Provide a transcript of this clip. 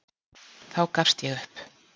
Þá gafst ég upp.